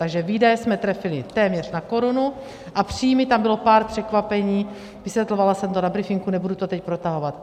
Takže výdaje jsme trefili téměř na korunu a příjmy, tam bylo pár překvapení, vysvětlovala jsem to na briefingu, nebudu to teď protahovat.